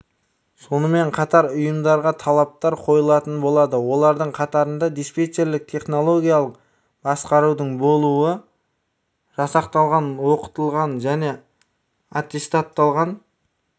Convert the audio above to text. сонымен қатар ұйымдарға талаптар қойылатын болады олардың қатарында диспетчерлік технологиялық басқарудың болуы жасақталған оқытылған және аттестатталған